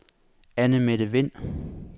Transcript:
Annemette Wind